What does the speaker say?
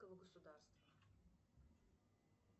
государства